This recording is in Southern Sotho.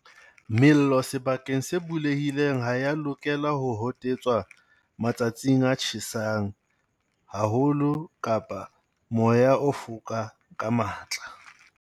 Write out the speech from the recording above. Mello sebakeng se bulehileng ha e ya lokela ho hotetswa matsatsing a tjhesang haho lo kapa ha moya o foka ka matla.